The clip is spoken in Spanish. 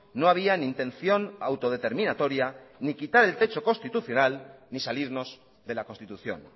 no había ni intención autodeterminatoria ni quitar el techo constitucional ni salirnos de la constitución